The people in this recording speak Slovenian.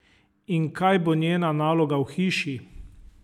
In kaj bo njena naloga v hiši?